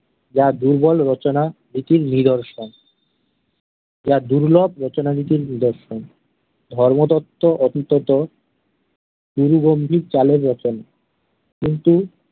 যা দুর্বল রচনা নীতির নিদর্শন। যা দুর্লভ রচনা নীতির নিদর্শন। ধর্মতত্ত্ব কথিতত প্রবন্ধী চালের রচনা। কিন্তু